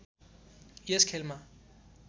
यस खेलमा